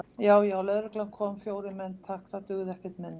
Já, já, lögreglan kom, fjórir menn, takk, það dugði ekkert minna!